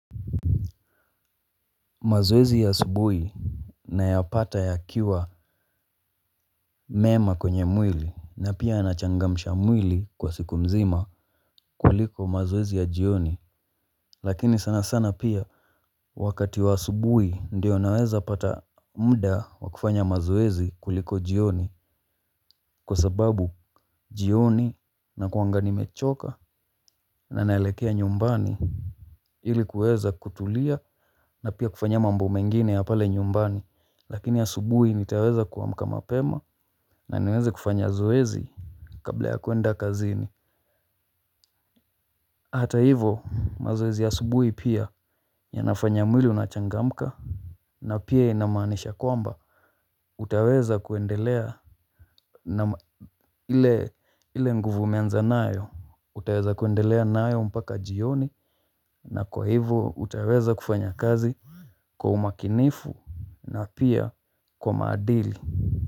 Mazoezi ya asubuhi nayapata yakiwa mema kwenye mwili na pia yanachangamsha mwili kwa siku mzima kuliko mazoezi ya jioni. Lakini sana sana pia wakati wa asubuhi ndio naweza pata mda wa kufanya mazoezi kuliko jioni. Kwa sababu jioni nakuanga nimechoka na naelekea nyumbani ili kuweza kutulia na pia kufanya mambo mengine ya pale nyumbani. Lakini asubuhi nitaweza kuamka mapema. Na ninaweza kufanya zoezi kabla ya kuenda kazini. Hata hivo mazoezi ya asubuhi pia yanafanya mwili unachangamka. Na pia inamaanisha kwamba utaweza kuendelea ile nguvu umeanza nayo. Utaweza kuendelea nayo mpaka jioni na kwa hivo utaeza kufanya kazi kwa umakinifu na pia kwa maadili.